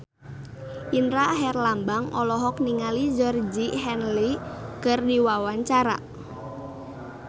Indra Herlambang olohok ningali Georgie Henley keur diwawancara